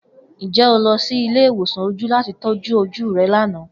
Njẹ o lọ si ile-iwosan oju lati tọju oju rẹ lana?